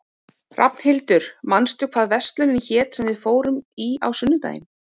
Rafnhildur, manstu hvað verslunin hét sem við fórum í á sunnudaginn?